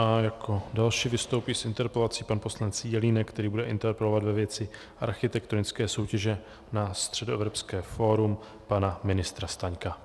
A jako další vystoupí s interpelací pan poslanec Jelínek, který bude interpelovat ve věci architektonické soutěže na Středoevropské fórum pana ministra Staňka.